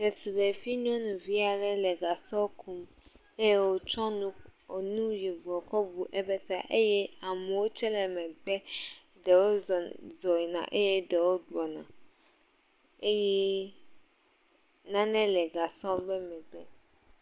Ɖetugbevi nyɔnuvi aɖe le gasɔ kum eye wòtsɔ enu yibɔ kɔ bu ebe ta eye amewo tsɛ le megbe, ɖewo zŋ yina eye ɖewo gbɔna eye nane le gasɔ ƒe megbe.